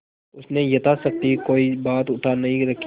उसने यथाशक्ति कोई बात उठा नहीं रखी